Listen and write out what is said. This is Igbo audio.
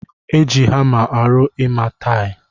Eji hamaarụ ọrụ ima taghi.